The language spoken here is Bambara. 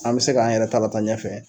an bɛ se k'an yɛrɛ ta lataa ɲɛfɛ